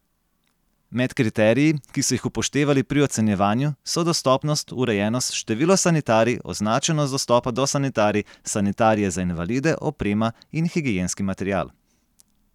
Med kriteriji, ki so jih upoštevali pri ocenjevanju, so dostopnost, urejenost, število sanitarij, označenost dostopa do sanitarij, sanitarije za invalide, oprema in higienski material.